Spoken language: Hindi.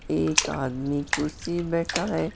एक आदमी कुर्सी बैठा है।